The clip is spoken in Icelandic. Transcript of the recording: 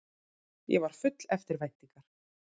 Ég var full eftirvæntingar.